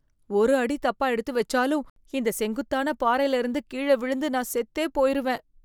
ஒரு அடி தப்பா எடுத்து வச்சாலும், இந்த செங்குத்தான பாறையில இருந்து கீழ விழுந்து நான் செத்தே போயிருவேன்.